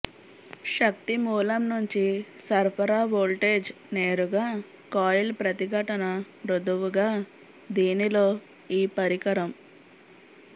శక్తి మూలం నుంచి సరఫరా వోల్టేజ్ నేరుగా కాయిల్ ప్రతిఘటన మృదువుగా దీనిలో ఈ పరికరం